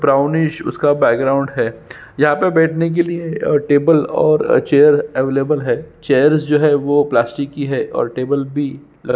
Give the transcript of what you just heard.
brownish उसका background है यहाँ पे बैठने के लिए टेबल और चेयर अवेलेबल है चेयर्स जो है वो प्लास्टिक की है और टेबल भी ल--